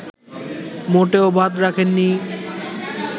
মোটেও বাদ রাখেননি